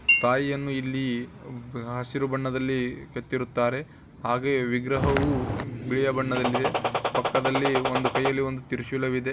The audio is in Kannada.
ತಾಯಿಯನ್ನು ಇಲ್ಲಿ ಹಸಿರು ಬಣ್ಣದಲ್ಲಿ ಕೆತ್ತಇರುತ್ತಾರೆ ಹಾಗೆ ವಿಗ್ರಹವು ಬಿಳಿ ಬಣ್ಣದಲ್ಲಿದೆ ಪಕ್ಕದಲ್ಲಿ ಒಂದು ಕೈಯಲ್ಲಿ ಒಂದು ತ್ರಿಶೂಲವಿದೆ.